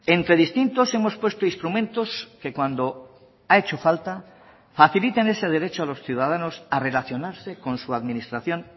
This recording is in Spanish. entre distintos hemos puesto instrumentos que cuando ha hecho falta faciliten ese derecho a los ciudadanos a relacionarse con su administración